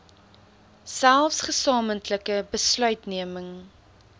selfs gesamentlike besluitneming